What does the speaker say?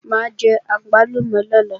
Mà á jẹ àgbálùmọ̀ lọ́la